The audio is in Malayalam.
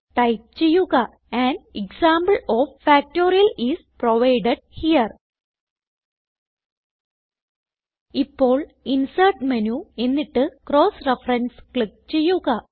ടൈപ്പ് ചെയ്യുക an example of factorial is provided here ഇപ്പോൾ ഇൻസെർട്ട് മേനു എന്നിട്ട് ക്രോസ് referenceക്ലിക്ക് ചെയ്യുക